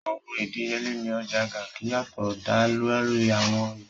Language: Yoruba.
Awọn idiyele ni Ọja Garki yatọ da lori awọn ipo.